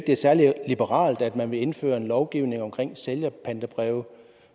er særlig liberalt at man vil indføre en lovgivning omkring sælgerpantebreve